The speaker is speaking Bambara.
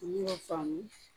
Olu y'o faamu